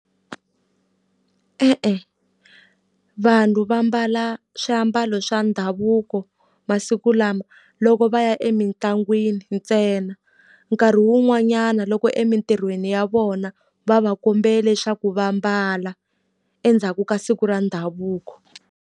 E-e, vanhu va mbala swiambalo swa ndhavuko masiku lama loko va ya emitlangwini ntsena. Nkarhi wun'wanyana loko emitirhweni ya vona, va va kombele leswaku va ambala endzhaku ka siku ra ndhavuko.